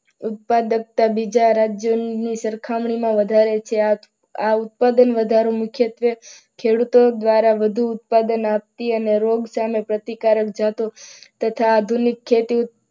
ઉત્પાદકતા બીજા રાજ્યની સરખામણીમાં વધારે છે. આ ઉત્પાદન વધારો મુખ્યત્વે ખેડૂતો દ્વારા વધુ ઉત્પાદન આપતી અને રોગ સામે પ્રતિકારક જાતો તથા આધુનિક ખેતી